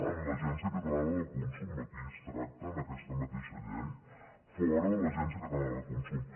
en l’agència catalana de consum aquí es tracta en aquesta mateixa llei fora de l’agència catalana de consum